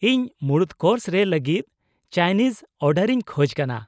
ᱤᱧ ᱢᱩᱬᱩᱫ ᱠᱳᱨᱥ ᱨᱮ ᱞᱟᱹᱜᱤᱫ ᱪᱟᱭᱱᱤᱡᱽ ᱚᱨᱰᱟᱨ ᱤᱧ ᱠᱷᱚᱡ ᱠᱟᱱᱟ ᱾